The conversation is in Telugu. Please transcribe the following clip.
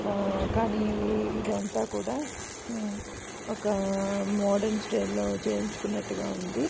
అ కానీ ఇది అంత కూడా ఒక మోడరన్ స్టైల్ లో చేపించుకుంటున్నాగా ఉంది.